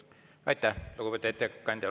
Aitäh, lugupeetud ettekandja!